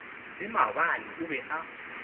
le maabane o be a